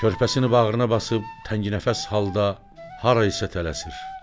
Körpəsini bağrına basıb tənginəfəs halda hara isə tələsir.